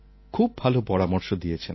খুব ভাল পরামর্শ দিয়েছেন